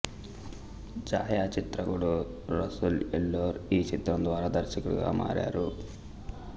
ఛాయాచిత్రకుడు రసూల్ ఎల్లోర్ ఈ చిత్రం ద్వారా దర్శకుడిగా మారారు